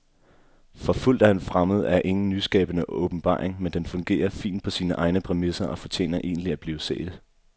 Forfulgt af en fremmed er ingen nyskabende åbenbaring, men den fungerer fint på sine egne præmisser og fortjener egentlig at blive set.